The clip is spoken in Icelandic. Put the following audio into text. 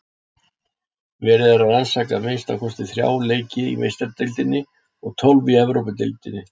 Verið er að rannsaka að minnsta kosti þrjá leiki í Meistaradeildinni og tólf í Evrópudeildinni.